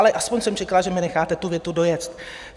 Ale aspoň jsem čekala, že mi necháte tu větu dojet.